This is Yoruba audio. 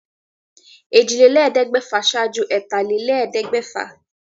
Èjìlélẹ́ẹ̀ẹ́dẹ́gbẹ́fà ṣáájú ẹ̀tàlélẹ́ẹ̀ẹ́dẹ́gbẹ́fà